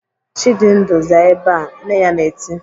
"Chidindu, zaa ebe a!" Nne ya na-eti.